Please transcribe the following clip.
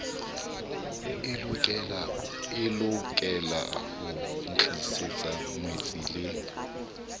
e lokelaho ntlisetsa ngwetsi le